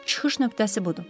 Çıxış nöqtəsi budur.